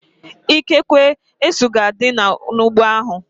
Ikekwe, esu ga-adị n'ụgbọ ahu